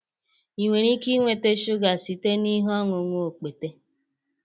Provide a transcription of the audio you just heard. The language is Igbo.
ị nwere ike nweta shuga site na ihe ọṅụṅụ okpete